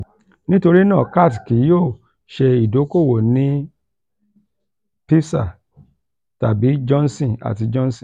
nitorinaa cath kii yoo ṣe idoko-owo ni pfizer tabi johnson ati johnson.